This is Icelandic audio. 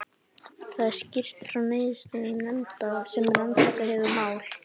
Þar er skýrt frá niðurstöðum nefndar sem rannsakað hefur mál